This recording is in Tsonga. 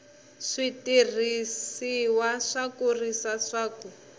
switirhisiwa swo kurisa swa ku